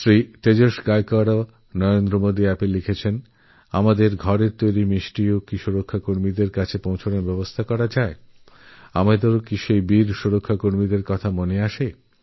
শ্রীমান তেজস গায়কোয়াড়ও নরেন্দ্রমোদী অ্যাপে লিখেছেন আমাদের বাড়িরমিষ্টিও প্রতিরক্ষা বাহিনীর কাছে পৌঁছনোর ব্যবস্থা কি করা যায় আমরাও আমাদের বীরপ্রতিরক্ষা বাহিনীর কথা ভাবি